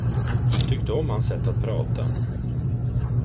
Tyckte om hans sätt att prata.